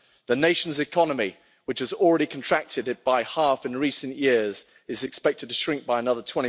The nation's economy, which has already contracted by half in recent years, is expected to shrink by another